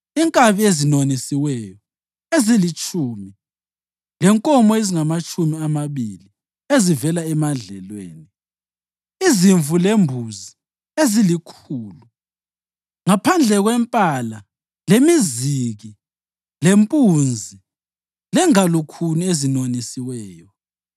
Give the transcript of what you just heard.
inkabi ezinonisiweyo ezilitshumi lenkomo ezingamatshumi amabili ezivela emadlelweni, izimvu lembuzi ezilikhulu ngaphandle kwempala lemiziki lempunzi lengalukhuni ezinonisiweyo.